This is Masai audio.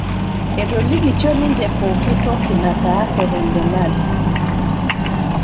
Etolikitio ninche pooki toki nataase tengelare